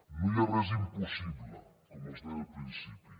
no hi ha res impossible com els deia al principi